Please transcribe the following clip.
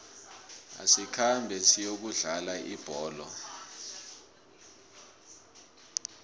asikhambe siyokudlala ibholo